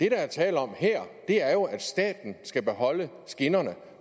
er tale om her er jo at staten skal beholde skinnerne